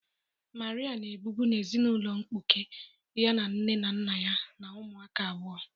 Maria na ebibu na ezinụlọ mkpuke, ya na nne na nna ya na umuaka abụọ.